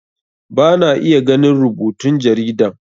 Bana iya ganin rubutun jaridan